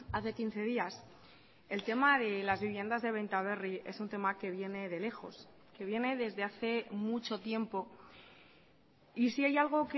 hace quince días el tema de las viviendas de benta berri es un tema que viene de lejos que viene desde hace mucho tiempo y si hay algo